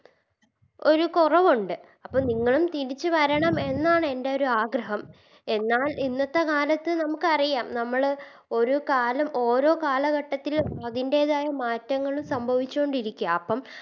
ഒരു കൊറവോണ്ട് അപ്പോ നിങ്ങളും തിരിച്ച് വരണം എന്നാണ് എൻറെ ഒരു ആഗ്രഹം എന്നാലിന്നതേ കാലത്ത് നമുക്കറിയാം നമ്മള് ഒര് കാലം ഓരോ കാലഘട്ടത്തില് അതിൻറെതായ മാറ്റങ്ങള് സംഭവിച്ചോണ്ട് ഇരിക്ക അപ്പം